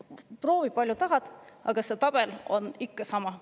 Proovi palju tahad, aga see tabel on ikka sama.